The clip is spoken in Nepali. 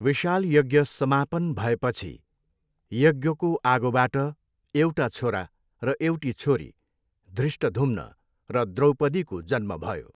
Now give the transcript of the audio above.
विशाल यज्ञ समापन भएपछि यज्ञको आगोबाट एउटा छोरा र एउटी छोरी, धृष्टद्युम्न र द्रौपदीको जन्म भयो।